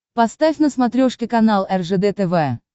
поставь на смотрешке канал ржд тв